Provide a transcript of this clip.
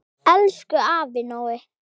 Elsku afi Nói.